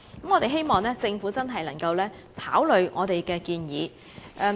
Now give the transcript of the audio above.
我們希望政府能認真考慮這項建議。